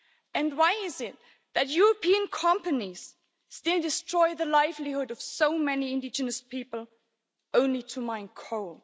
And why is it that European companies still destroy the livelihoods of so many indigenous people, only to mine coal?